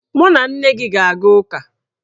Mụ na nne m ga-aga ụka.